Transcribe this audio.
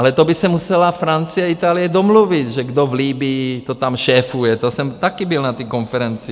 Ale to by se musela Francie a Itálie domluvit, že kdo v Libyi to tam šéfuje, to jsem také byl na té konferenci.